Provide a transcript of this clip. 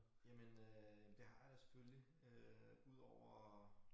Jamen øh det har jeg da selvfølgelig udover